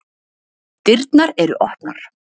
Dyrnar eru opnar